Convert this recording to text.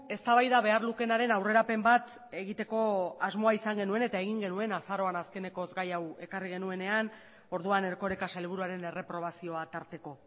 eztabaida behar lukeenaren aurrerapen bat egiteko asmoa izan genuen eta egin genuen azaroan azkenekoz gai hau ekarri genuenean orduan erkoreka sailburuaren erreprobazioa tarteko